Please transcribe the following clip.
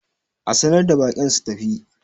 a sanar da baƙin su tafi!